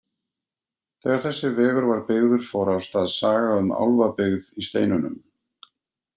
Þegar þessi vegur var byggður fór af stað saga um álfabyggð í steinunum.